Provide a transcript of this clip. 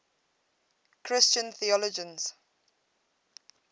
christian theologians